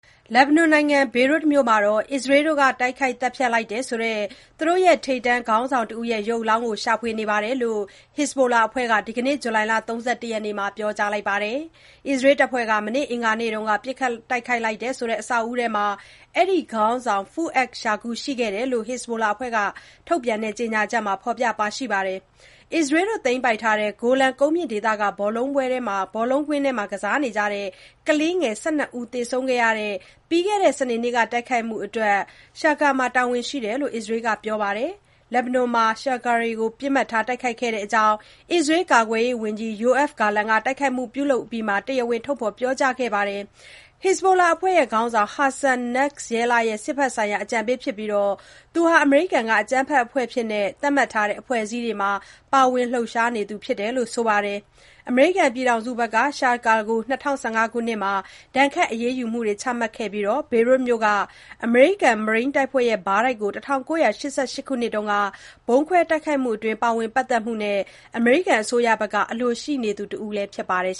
လက်ဘနွန်နိုင်ငံ၊ ဘေရွတ်မြို့မှာ အစ္စရေးတို့က တိုက်ခိုက် သတ်ဖြတ်လိုက်တယ်ဆိုတဲ့ သူတို့ရဲ့ ထိပ်တန်း ခေါင်းဆောင်တဦးရဲ့ ရုပ်အလောင်းကို ရှာဖွေနေကြောင်း Hezbollah အဖွဲ့က ဒီကနေ့ ဇူလိုင် ၃၁ ရက်နေ့မှာ ပြောကြားလိုက်ပါတယ်။ အစ္စရေးတပ်ဖွဲ့က မနေ့ အင်္ဂါနေ့မှာ ပစ်ခတ်တိုက်ခိုက်လိုက်တယ်ဆိုတဲ့ အဆောက်အဦထဲမှာ အဲဒီခေါင်းဆောင် Fouad Shukur ရှိနေခဲ့တယ်လို့ Hezbollah အဖွဲ့က ထုတ်ပြန်တဲ့ ကြေညာချက်မှာ ဖော်ပြထားပါတယ်။ အစ္စရေးတို့ သိမ်းပိုက်ထားတဲ့ Golan ကုန်းမြင့်ဒေသက ဘောလုံးကွင်းအတွင်း ကစားနေကြတဲ့ ကလေးငယ် ၁၂ ဦး သေဆုံးခဲ့ရတဲ့ ပြီးခဲ့တဲ့ စနေနေ့က တိုက်ခိုက်မှုအတွက် Shukur မှာ တာဝန်ရှိတယ်လို့ အစ္စရေးက ပြောပါတယ်။ လက်ဘနွန်မှာ Shukur ကို ပစ်မှတ်ထား တိုက်ခိုက်ခဲ့တဲ့အကြောင်း အစ္စရေး ကာကွယ်ရေးဝန်ကြီး Yoav Gallant က တိုက်ခိုက်မှုပြုလုပ်အပြီးမှာ တရားဝင် ထုတ်ဖော် ပြောကြားခဲ့ပါတယ်။ Shukur ဟာ Hezbollah အဖွဲ့ခေါင်းဆောင် Hassan Nasrallah ရဲ့ စစ်ဘက်ဆိုင်ရာ အကြံပေးဖြစ်ပြီး အမေရိကန်က အကြမ်းဖက်အဖွဲ့လို့ သတ်မှတ်ထားတဲ့ အဖွဲ့အစည်းတွေမှာ ပါဝင် လှုပ်ရှားနေသူဖြစ်တယ်လို့ ဆိုပါတယ်။ အမေရိကန်ပြည်ထောင်စုက သူ့ကို ၂၀၁၅ ခုနှစ်မှာ ဒဏ်ခတ် အရေးယူမှုတွေ ချမှတ်ခဲ့ပြီး ဘေရွတ်မြို့က အမေရိကန် မရိန်းတပ်ဖွဲ့ဘားတိုက်ကို ၁၉၈၈ ခုနှစ်က ဗုံးခွဲ တိုက်ခိုက်မှုမှာ ပါဝင် ပတ်သက်မှုနဲ့ အမေရိကန်အစိုးရက အလိုရှိနေသူတဦးလည်း ဖြစ်ပါတယ်